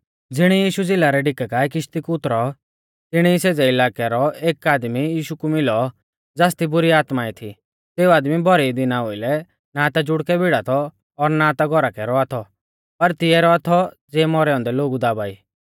ज़िणी यीशु झ़िला रै डीका काऐ किश्ती कु उतरौ तिणी सेज़ै इलाकै रौ एक आदमी यीशु कु मिलौ ज़ासदी बुरी आत्माऐं थी सेऊ आदमी भौरी दिना ओउलै ना ता जुड़कै भीड़ा थौ और ना ता घौरा कै रौआ थौ पर तिऐ रौआ थौ ज़ियै मौरै औन्दै लोगु दाबा ई